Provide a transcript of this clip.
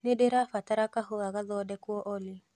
nĩndĩrabatara kahũa gathongekwo olly